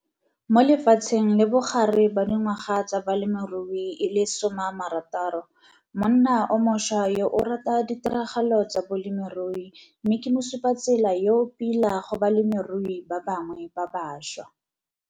Mo lefatsheng le bogare ba dingwaga tsa balemirui e le 60, monna o mošwa yo o rata ditiragalo tsa bolemirui mme ke mosupatsela yo o plia go balemirui ba bangwe ba bašwa.